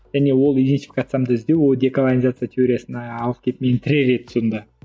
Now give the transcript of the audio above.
және ол иденфикациямды іздеу ол деколонизация теориясына алып келіп мені тірер еді сонда